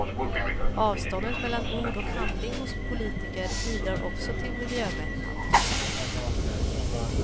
Avståndet mellan ord och handling hos politiker bidrar också till miljömättnad.